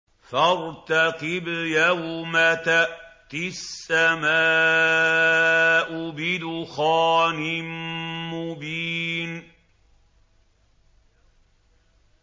فَارْتَقِبْ يَوْمَ تَأْتِي السَّمَاءُ بِدُخَانٍ مُّبِينٍ